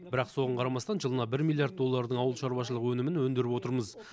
бірақ соған қарамастан жылына бір миллиард доллардың ауыл шаруашылығы өнімін өндіріп отырмыз